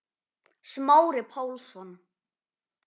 Smári Pálsson